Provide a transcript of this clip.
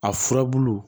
A furabulu